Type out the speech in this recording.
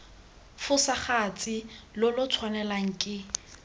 fosagatse lo lo tshwanelwang ke